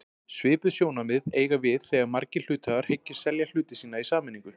Svipuð sjónarmið eiga við þegar margir hluthafar hyggjast selja hluti sína í sameiningu.